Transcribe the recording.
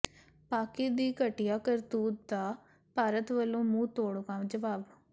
ਪਾਕਿ ਦੀ ਘਟੀਆ ਕਰਤੂਤ ਦਾ ਭਾਰਤ ਵਲੋਂ ਮੂੰਹ ਤੋੜਵਾਂ ਜਵਾਬ